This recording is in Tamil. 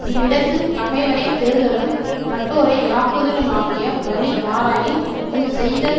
இவ்விடத்துப் பகைவரை தெறுதலும் நட்டோரை யாக்குதலுமாகிய வலி ஆராயின் முன்செய்த